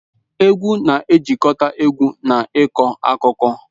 Egwu na-ejikọta egwu na ịkọ akụkọ.